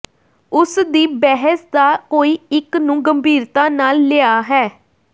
ਉਸ ਦੀ ਬਹਿਸ ਦਾ ਕੋਈ ਇੱਕ ਨੂੰ ਗੰਭੀਰਤਾ ਨਾਲ ਲਿਆ ਹੈ